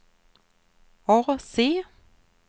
AC